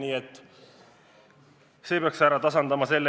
Nii et see peaks seisu tasakaalu viima.